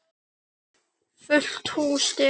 Fullt hús stiga.